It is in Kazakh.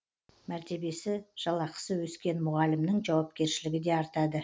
мәртебесі жалақысы өскен мұғалімнің жауапкершілігі де артады